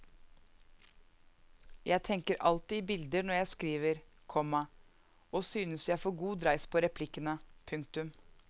Jeg tenker alltid i bilder når jeg skriver, komma og synes jeg får god dreis på replikkene. punktum